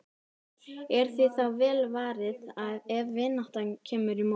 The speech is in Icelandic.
Er því þá vel varið ef vinátta kemur í mót.